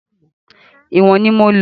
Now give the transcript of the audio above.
Ìwọ̀n ni mo lò.